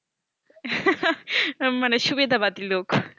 মানে সুবিদা বাতির লোক